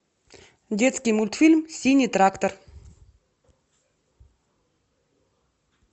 детский мультфильм синий трактор